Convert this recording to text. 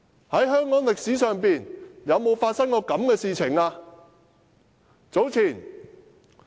在香港歷史上，有沒有發生過這種事？